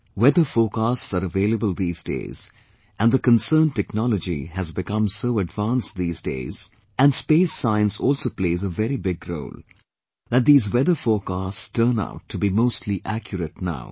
Weather forecasts are available these days and the concerned technology has become so advanced these days, and space science also plays a very big role, that these weather forecasts turn out to be mostly accurate now